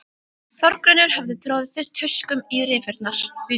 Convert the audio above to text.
Þórgunnur hafði troðið tuskum í rifurnar.